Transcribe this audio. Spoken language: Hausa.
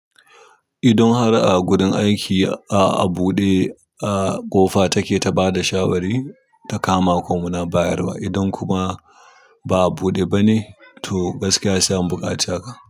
Idon har a gurin aiki a a buɗe, a ƙofa take ta bada shawari ta kama ko muna bayarwa. Idan kuma ba a buɗe ba ne, to gaskiya sai an buƙaci haka.